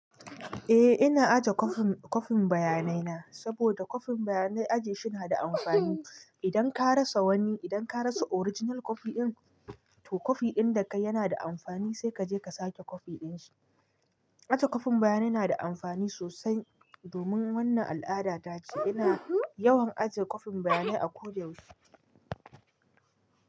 Eh ina aje kwafin bayanai na saboda kwafin bayanai ajiye shi na da amfani. Idan ka rasa wani, idan ka rasa original kwafi din, to kwafi din da kai yana da amfani sai ka je ka sake kwafi din shi. Aje kwafin bayanai na da amfani sosai domin wannan al'ada tace ina yawan aje kwafin bayanai a ko da yaushe.